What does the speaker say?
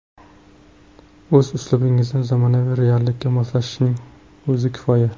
O‘z uslubingizni zamonaviy reallikka moslashning o‘zi kifoya.